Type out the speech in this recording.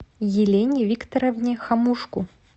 елене викторовне хомушку